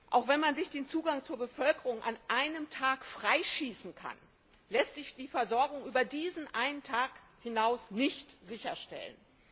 Auch wenn man sich den Zugang zur Bevölkerung an einem Tag freischießen kann, lässt sich die Versorgung über diesen einen Tag hinaus nicht sicherstellen.